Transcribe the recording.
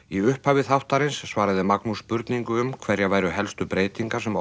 í upphafi þáttarins svaraði Magnús spurningu um hverjar væru helstu breytingar sem